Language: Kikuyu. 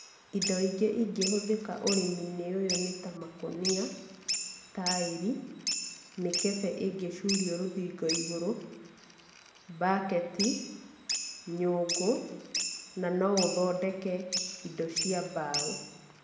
Indo ingĩ ingĩhũthĩka ũrĩmi-inĩ ũyũ nĩ ta makonia, taĩri, mĩkebe ĩngĩcurio rũthingo igũrũ, mbaketi, nyũngũ na no ũthondeke indo cia mbaũ.